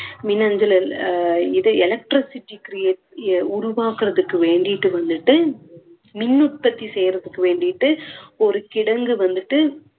இது electricity create~ உருவாக்குறதுக்கு வேண்டிட்டு வந்துட்டு மின் உற்பத்தி செய்யுறதுக்கு வேண்டிட்டு ஒரு கிடங்கு வந்துட்டு